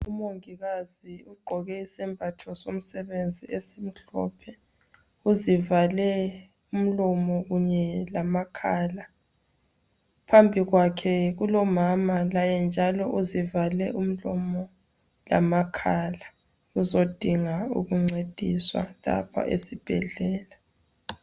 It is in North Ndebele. Umungikazi ugqoke isebhatho somsebenzi esimhlophe. Uzivale umlomo kunye lamakhala. phambi kwakhe kulomamama, laye njalo uzivale umlomo lamakhala. Uzodinga ukuncediswa lapha esibhedlela.